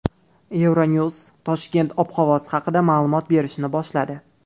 Euronews Toshkent ob-havosi haqida ma’lumot berishni boshladi.